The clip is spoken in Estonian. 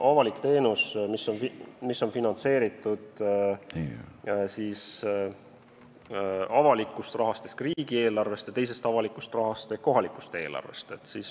Avalik teenus, mis on finantseeritud avalikust rahast ehk riigieelarvest ja teisest avalikust rahast ehk kohalikust eelarvest.